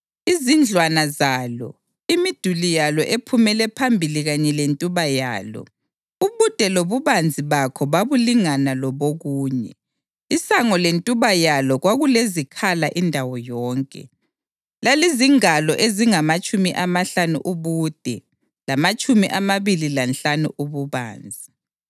Izindlwana zalo, imiduli yalo ephumele phambili kanye lentuba yalo, ubude lobubanzi bakho babulingana lobokunye. Isango lentuba yalo kwakulezikhala indawo yonke. Lalizingalo ezingamatshumi amahlanu ubude lamatshumi amabili lanhlanu ububanzi.